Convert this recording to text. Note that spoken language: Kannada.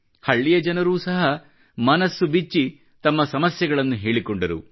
ಹಳ್ಳಿಯ ಜನರೂ ಸಹ ಮನ ಬಿಚ್ಚಿ ತಮ್ಮ ಸಮಸ್ಯೆಗಳನ್ನು ಹೇಳಿಕೊಂಡರು